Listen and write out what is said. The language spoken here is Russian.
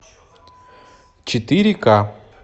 четыре ка